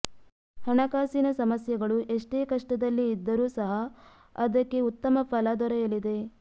ಹಣಕಾಸಿನ ಸಮಸ್ಯೆಗಳು ಎಷ್ಟೇ ಕಷ್ಟದಲ್ಲಿ ಇದ್ದರು ಸಹ ಅದಕ್ಕೆ ಉತ್ತಮ ಫಲ ದೊರೆಯಲಿದೆ